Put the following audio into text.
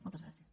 moltes gràcies